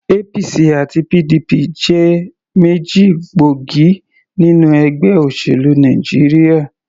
APC àti PDP jẹ́ méjì gbóògì nínú ẹgbẹ́ òṣèlú Nàìjíríà.